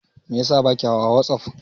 Meyasa baki hawa wasuf?